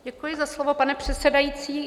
Děkuji za slovo, pane předsedající.